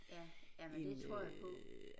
Ja jamen det tror jeg på